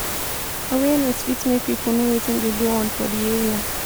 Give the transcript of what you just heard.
awareness fit make pipo know wetin dey go on for di area